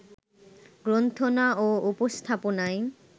গ্রন্থনা ও উপস্থাপনায়